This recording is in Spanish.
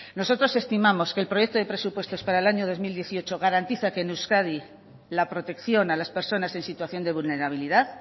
nosotros estimamos que el proyecto de presupuestos para el año dos mil dieciocho garantiza que en euskadi la protección a las personas en situación de vulnerabilidad